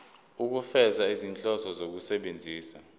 ukufeza izinhloso zokusebenzisa